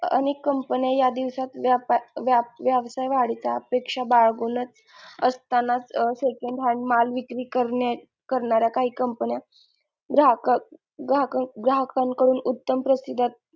अनेक company या दिवसात व्याप व्याप व्यवसाय वाढीच्या अपेक्षा बाळगूनच असतानाच second hand माल विक्री करन्या करणाऱ्या काही कंपन्या ग्राहक ग्राह ग्राहकांकडून उत्तम प्रतीच्या